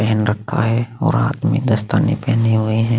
पहन रखा है और हाथ में दस्ताने पहने हुए है।